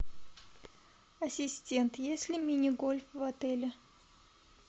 ассистент есть ли мини гольф в отеле